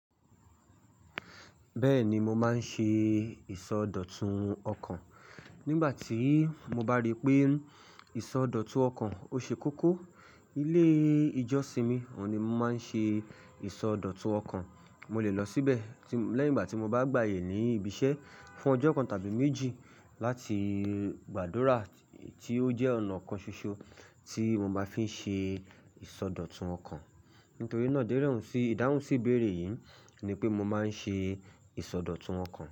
Bẹ́ẹ̀ni, mo máa ń ṣe ìsọdọ̀tun ọkàn. Nígbà tí mo bá rí pé ìsọdọ̀tun ọkàn ó ṣe kókó, ilé ìjọsìn mi oun ni mo máa ń ṣe ìsọdọ̀tun ọkàn. Mo lè lọ síbẹ̀ ti, lẹ́yìn igbà tí mo bá gbaye ni ìbíṣẹ́ fún ọjọ́ kan tàbí méjì láti gbàdúrà tí ó jẹ́ ọ̀nà kan ṣoṣo tí mo máa fi ń ṣe ìsọdọ̀tun ọkàn. Nítorí náà, idẹrẹhun si, ìdáhùn sí ìbéèrè yìí ni pé mo máa ń ṣe ìsọdọ̀tun ọkàn.